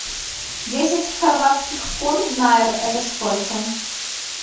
десять хорватских кун в найр это сколько